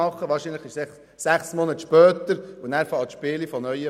Wahrscheinlich ist es dann einfach sechs Monate später und das Spiel beginnt von Neuem.